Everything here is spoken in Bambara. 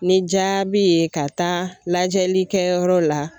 Ni jaabi ye ka taa lajɛlikɛ yɔrɔ la